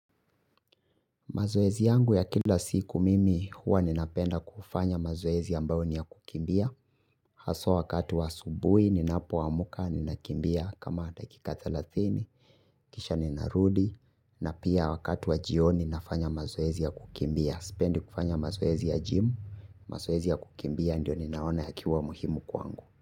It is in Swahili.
Mazoezi yangu ya kila siku mimi huwa ninapenda kufanya mazoezi ambao ni ya kukimbia. Haswa wakati wa asubui ninapo wa muka ninakimbia kama dakika thelathini. Kisha nina rudi na pia wakati wa jioni nafanya mazoezi ya kukimbia. Sipendi kufanya mazoezi ya jimu, mazoezi ya kukimbia ndio ninaona yakiwa muhimu kwangu.